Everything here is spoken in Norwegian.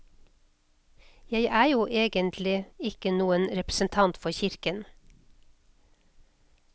Jeg er jo ikke egentlig noen representant for kirken.